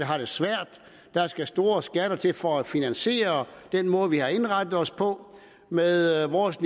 har det svært der skal store skatter til for at finansiere den måde vi har indrettet os på med vores